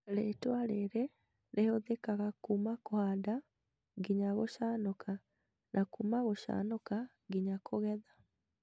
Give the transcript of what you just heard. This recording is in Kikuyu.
Rĩtwa rĩrĩ rĩhũthĩkaga kuma kũhanda nginya gũcanũka na kuma gũcanũka nginya kũgetha